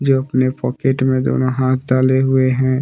जो अपने पॉकेट में दोनों हाथ डाले हुए है।